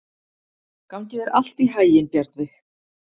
Gangi þér allt í haginn, Bjarnveig.